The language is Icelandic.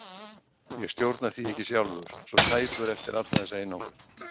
Ég stjórna því ekki sjálfur, svo tæpur eftir alla þessa einangrun.